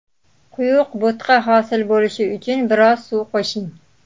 Quyuq bo‘tqa hosil bo‘lishi uchun biroz suv qo‘shing.